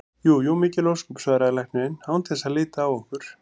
Jú jú, mikil ósköp, svaraði læknirinn án þess að líta á okkur.